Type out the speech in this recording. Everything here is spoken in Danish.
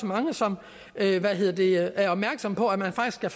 mange som er opmærksomme på at man faktisk kan